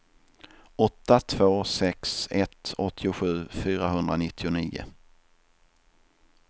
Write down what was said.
åtta två sex ett åttiosju fyrahundranittionio